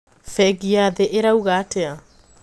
Bengi ya thii irauga atia?